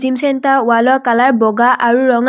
Gym centre ৱালৰ colour বগা আৰু ৰঙা।